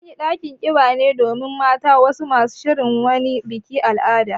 An yi ɗakin ƙiba ne domin mata masu shirin wani bikin al'ada.